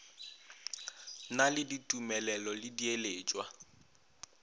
na le ditumelelo le diiletšwa